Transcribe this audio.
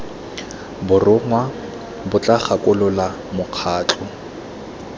borongwa bo tla gakolola mokgatlho